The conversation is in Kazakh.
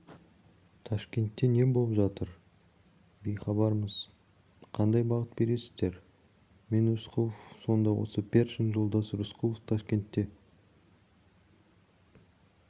ташкентте не болып жатыр бейхабармыз қандай бағыт бересіздер мен рысқұлов сонда осы першин жолдас рысқұлов ташкентте